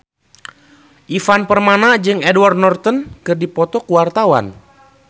Ivan Permana jeung Edward Norton keur dipoto ku wartawan